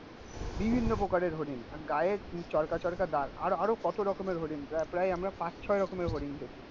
বিভিন্ন প্রকারের হরিণ. আর গায়ের চরকা চরকা দাগ. আরো আরো কত রকমের হোডিং. তা প্রায় আমরা পাঁচ ছয় রকমের হরিণ দেখেছি